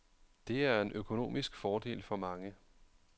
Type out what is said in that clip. Det er en økonomisk fordel for mange.